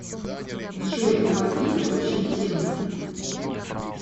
джой у вас есть общие темы